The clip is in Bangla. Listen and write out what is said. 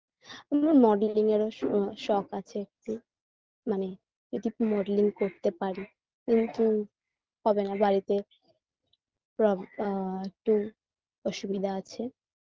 modeling -এরও শ শখ আছে একটু মানে যদি modeling করতে পারি কিন্তু হবেনা বাড়িতে প্রব আ একটু অসুবিধা আছে